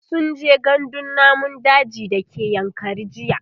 sunje gandun namun daji da ke yankari jiya